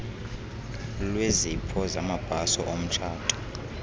lwezipho zamabhaso omtshato